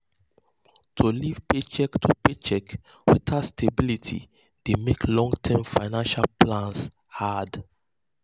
to live paycheck to paycheck without stability dey mek long-term financial plans hard.